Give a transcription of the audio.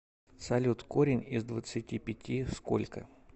салют корень из двадцати пяти сколько